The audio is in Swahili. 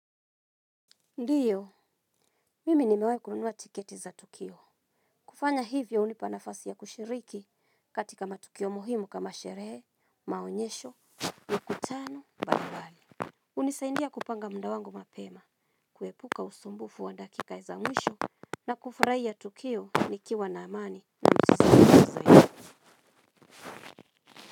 Ndiyo, mimi nimewahi kununua tiketi za tukio. Kufanya hivyo hunipa nafasi ya kushiriki katika matukio muhimu kama sherehe, maonyesho, na mkutano mbalimbali. Hunisaidia kupanga muda wangu mapema, kuepuka usumbufu wa dakika za mwisho na kufurahia tukio nikiwa na amani.